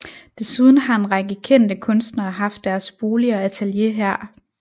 Desuden har en række kendte kunstnere haft deres bolig og atelier her